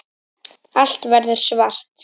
Allt verður svart.